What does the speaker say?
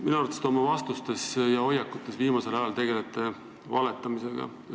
Minu arvates te oma vastustes ja hoiakute väljendamises tegelete viimasel ajal valetamisega.